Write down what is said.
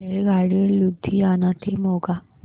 रेल्वेगाडी लुधियाना ते मोगा